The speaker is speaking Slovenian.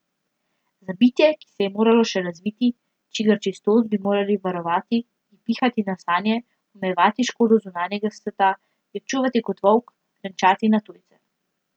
Za bitje, ki se je moralo še razviti, čigar čistost bi moral varovati, ji pihati na sanje, omejevati škodo zunanjega sveta, jo čuvati kot volk, renčati na tujce.